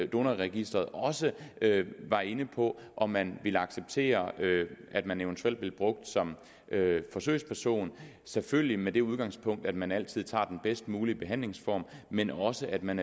donorregisteret også var inde på om man ville acceptere at man eventuelt blev brugt som forsøgsperson selvfølgelig med det udgangspunkt at man altid tager den bedst mulige behandlingsform men også at man